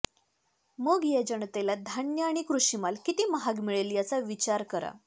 मग या जनतेला धान्य आणि कृषिमाल किती महाग मिळेल याचा विचार करा